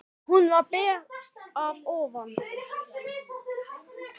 Hún var ber að ofan.